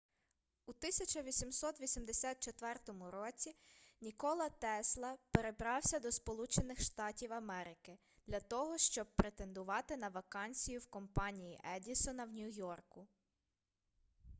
у 1884 році нікола тесла перебрався до сполучених штатів америки для того щоб претендувати на вакансію в компанії едісона в нью-йорку